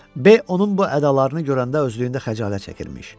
B onun bu ədalarını görəndə özlüyündə xəcalət çəkirmiş.